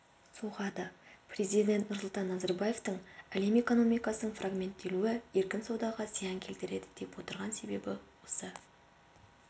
соғады президент нұрсұлтан назарбаевтың әлем экономикасының фрагменттелуі еркін саудаға зиян келтіреді деп отырған себебі осы